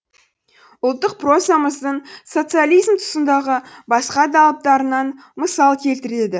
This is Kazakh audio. ұлттық прозамыздың социализм тұсындағы басқа да алыптарынан мысал келтіреді